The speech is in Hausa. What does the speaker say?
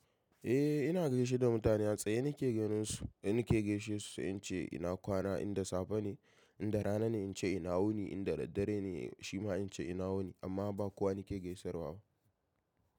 Eh ina gaishe da mutane a tsaye nake ganinsu, nake gaishe su in ce ina kwana in da safe ne, in da rana ne in ce ina wuni, in da daddare ne shima in ce ina wuni amma ba kowa nake gaisarwa ba.